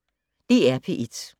DR P1